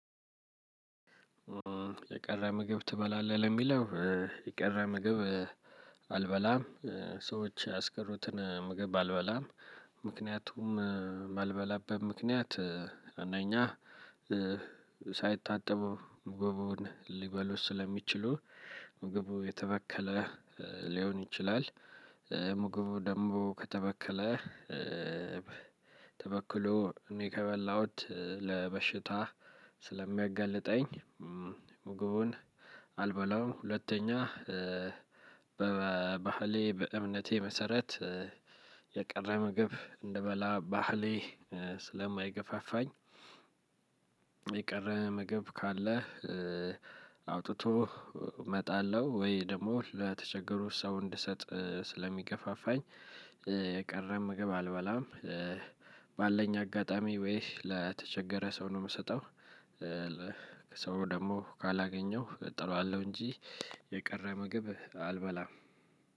የቀረ ምግብ ትበላለህ ለሚለው? የቀረ ምግብ አልበላም። ሰዎች ያስቀሩትን ምግብ አልበላም። ምክንያቱም የማልበላበት ምክንያት እነኛ ሳይታጠቡ ምግቡን ሊበሉት ስለሚችሉ። ምግቡ የተበከለ ሊሆን ይችላል። ምግቡ ደሞ ከተበከለ። ተበክሎ እኔ ከበላሁት ለበሽታ ስለሚያገልጠኝ። ምግቡን አልበላውም። ሁለተኛ በባህሌ በእምነቴ መሰረት የቀረ ምግብ እንድበላ ባህሌ ስለማይገፋፋኝ። የቀረ ምግብ ካለ አውጥቶ መጣል ነው ወይ ደግሞ ለተቸገሩ ሰው እንድሰጥ ስለሚገፋፋኝ። የቀረ ምግብ አልበላም። ባለኝ አጋጣሚ ወይ ለተቸገረ ሰው ነው የምሰጠው። ሰው ደግሞ ካላገኘሁ እጥለዋለሁ እንጂ የቀረ ምግብ አልበላም።